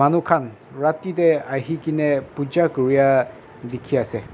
khan rati dae ahikena pooja kurya dekhe ase.